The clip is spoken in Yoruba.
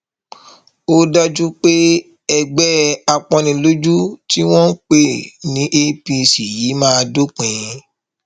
ó dájú pé ẹgbẹ àpọnnilójú tí wọn ń pè ní apc yìí máa dópin